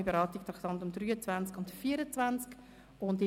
«Gemeinsame Beratung der Traktanden 23 und 24».